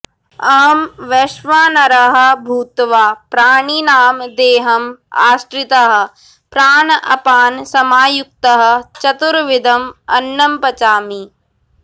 अहं वैश्वानरः भूत्वा प्राणिनां देहम् आश्रितः प्राणापानसमायुक्तः चतुर्विधम् अन्नं पचामि